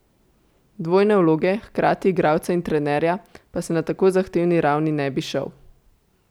Dvojne vloge, hkrati igralca in trenerja, pa se na tako zahtevni ravni ne bi šel.